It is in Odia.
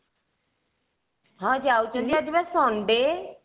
ହଁ ଯାଉଥିଲି ଆଜିବା sunday